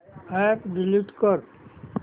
app delete कर